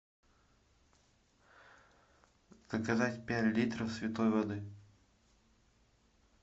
заказать пять литров святой воды